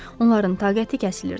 Onların taqəti kəsilirdi.